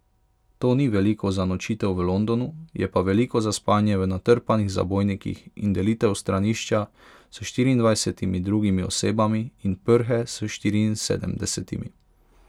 To ni veliko za nočitev v Londonu, je pa veliko za spanje v natrpanih zabojnikih in delitev stranišča s štiriindvajsetimi drugimi osebami in prhe s štiriinsedemdesetimi.